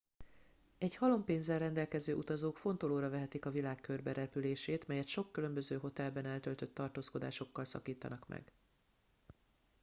egy halom pénzzel rendelkező utazók fontolóra vehetik a világ körberepülését melyet sok különböző hotelben eltöltött tartózkodásokkal szakítanak meg